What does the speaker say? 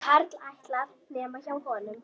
Karl ætlar, nema hjá honum.